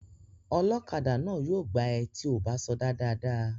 Ọlọ́kadà náà yóò gbá ẹ tí ò bá sọdá dáadáa